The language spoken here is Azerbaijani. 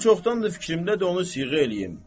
Mənim çoxdandır fikrimdədir onu siğə eləyim.